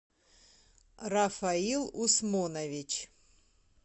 рафаил усмонович